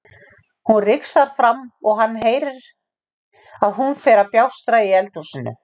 Hún rigsar fram og hann heyrir að hún fer að bjástra í eldhúsinu.